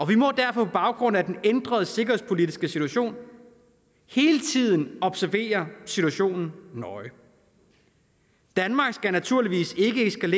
vi må derfor på baggrund af den ændrede sikkerhedspolitiske situation hele tiden observere situationen nøje danmark skal naturligvis